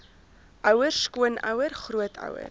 ouer skoonouer grootouer